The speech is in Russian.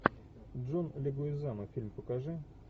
джон легуизамо фильм покажи